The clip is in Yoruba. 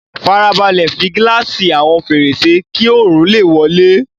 Fara balẹ̀ fi gíláàsì àwọn fèrèsé kí oòrùn lè wọlé